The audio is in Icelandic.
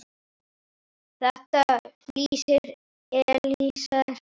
Þetta lýsir Elíeser vel.